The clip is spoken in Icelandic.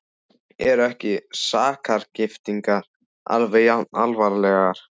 Eru ekki sakargiftirnar alveg jafn alvarlegar?